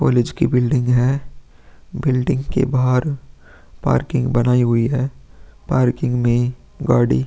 College की building है। Building के बाहर पार्किंग बनाई हुई है। पार्किंग में गाड़ी --